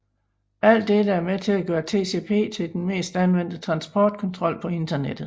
Alt dette er med til at gøre TCP til den mest anvendte transportprotokol på Internettet